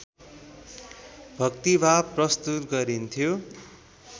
भक्तिभाव प्रस्तुत गरिन्थ्यो